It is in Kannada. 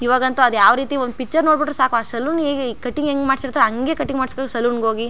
ಈವಾಗ್ ಅಂತು ಅದ್ ಯಾವರೀತಿ ಒಂದ್ ಪಿಕ್ಚರ್ ನೋಡ್ ಬಿಟ್ಟ್ರೆ ಸಾಕು ಆ ಸಲೂನ್ ಹೇಗೆ ಕಟಿಂಗ್ ಹೆಂಗ್ ಮಾಡ್ಸಿರ್ತರೆ ಹಂಗೆ ಕಟಿಂಗ್ ಮಾಡ್ಸಿ ಸಲೂನ್ ಹೋಗಿ.